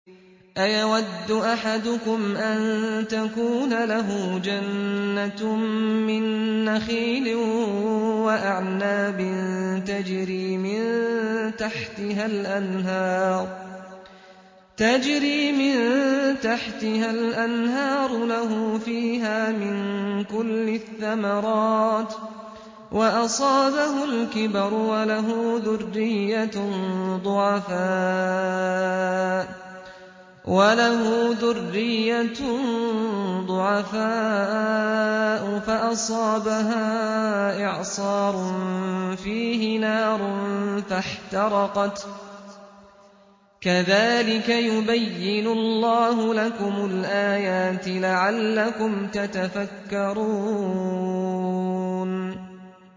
أَيَوَدُّ أَحَدُكُمْ أَن تَكُونَ لَهُ جَنَّةٌ مِّن نَّخِيلٍ وَأَعْنَابٍ تَجْرِي مِن تَحْتِهَا الْأَنْهَارُ لَهُ فِيهَا مِن كُلِّ الثَّمَرَاتِ وَأَصَابَهُ الْكِبَرُ وَلَهُ ذُرِّيَّةٌ ضُعَفَاءُ فَأَصَابَهَا إِعْصَارٌ فِيهِ نَارٌ فَاحْتَرَقَتْ ۗ كَذَٰلِكَ يُبَيِّنُ اللَّهُ لَكُمُ الْآيَاتِ لَعَلَّكُمْ تَتَفَكَّرُونَ